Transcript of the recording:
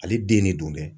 Ale den ne don dɛ